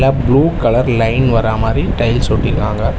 Blue colour line வராமாரி tiles ஒட்டிருக்காங்க.